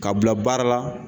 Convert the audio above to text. Ka bila baara la